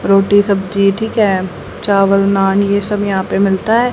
रोटी सब्जी ठीक है चावल नान ये सब यहां पे मिलता है।